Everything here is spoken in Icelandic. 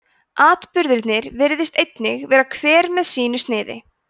atburðirnir virðist einnig vera hver með sínu sniði